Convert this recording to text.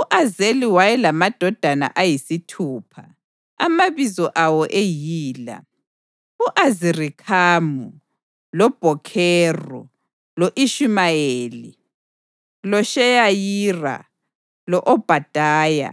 U-Azeli wayelamadodana ayisithupha, amabizo awo eyila: u-Azirikhamu, loBhokheru, lo-Ishumayeli, loSheyariya, lo-Obhadaya